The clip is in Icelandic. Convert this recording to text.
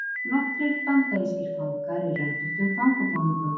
nokkrir bandarískir fangar í röndóttum fangabúningum